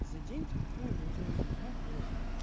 за день в тупую могу уебать блять